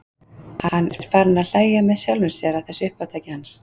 Hann er farinn að hlæja með sjálfum sér að þessu uppátæki hans.